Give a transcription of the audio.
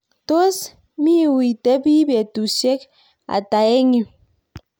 tos miuitebi betusiek ata eng yu ?